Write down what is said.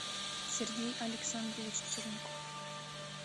сергей александрович черняков